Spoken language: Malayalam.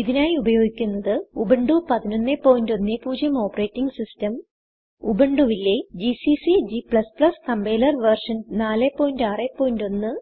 ഇതിനായി ഉപയോഗിക്കുന്നത്Ubuntu 1110 ഓപ്പറേറ്റിംഗ് സിസ്റ്റം ഉബുണ്ടുവിലെ ജിസിസി g കമ്പൈലർ വെർഷൻ 461